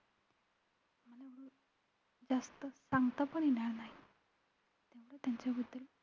stage वर जायचंय तुमचा stage वर जायचं playback singing ची मला जे स्वप्न बघितले ते मला पूर्ण करायचे.